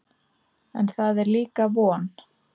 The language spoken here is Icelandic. En það er líka von.